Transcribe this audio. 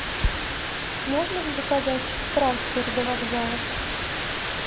можно ли заказать трансфер до вокзала